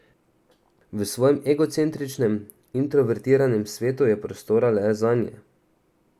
V svojem egocentričnem, introvertiranem svetu je prostora le zanje.